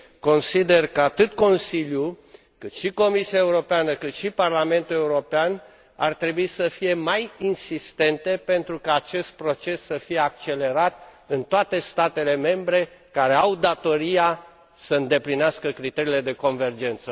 Consider că atât Consiliul, cât și Comisia Europeană și Parlamentul European ar trebui să fie mai insistente pentru ca acest proces să fie accelerat în toate statele membre care au datoria să îndeplinească criteriile de convergență.